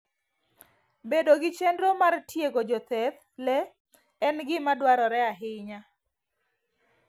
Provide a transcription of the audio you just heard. Bedo gi chenro mar tiego jothedh le en gima dwarore ahinya.